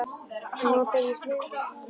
Nú ber ég smyrsl á sárin.